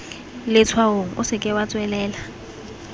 letshwaong o seke wa tswelela